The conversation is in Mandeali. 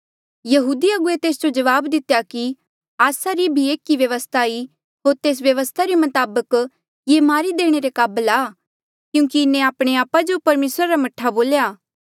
यहूदी अगुवे तेस जो जवाब दितेया कि आस्सा रा भी एक व्यवस्था ई होर तेस व्यवस्था रे मताबक ये मारी देणे रे काबल आ क्यूंकि इन्हें आपणे आपा जो परमेसरा रा मह्ठा बोल्या